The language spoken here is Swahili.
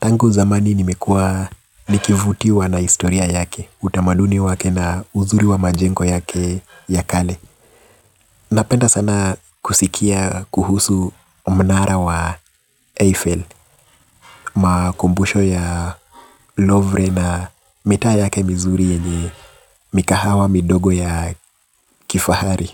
Tangu zamani nimekuwa nikivutiwa na historia yake, utamaduni wake na uzuri wa majengo yake ya kale. Napenda sana kusikia kuhusu mnara wa Eiffel, makumbusho ya Lovre na mitaa yake mzlizuri yenye mikahawa midogo ya kifahari.